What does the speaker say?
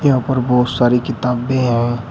यहां पर बहोत सारी किताबें हैं।